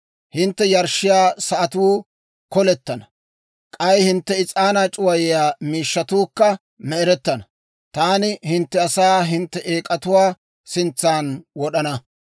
Hintte yarshshiyaa sa'atuu kolettenna; k'ay hintte is'aanaa c'uwayiyaa miishshatuukka me"erettana. Taani hintte asaa hintte eek'atuwaa sintsan wod'ana.